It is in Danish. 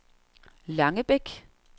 Langebæk